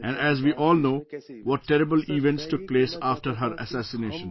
And, as we all know, what terrible events took place after her assassination